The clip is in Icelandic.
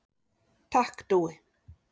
Takk Dúi.